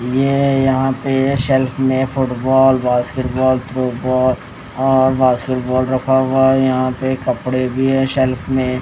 ये यहां पे शेल्फ में फुटबॉल बास्केटबॉल थ्रोबॉल और बास्केटबॉल रखा हुआ है यहां पे कपड़े भी हैं शेल्फ में।